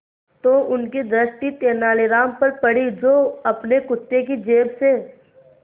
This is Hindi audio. तो उनकी दृष्टि तेनालीराम पर पड़ी जो अपने कुर्ते की जेब से